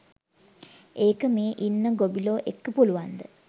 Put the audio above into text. ඒක මේ ඉන්න ගොබිලො එක්ක පුළුවන්ද.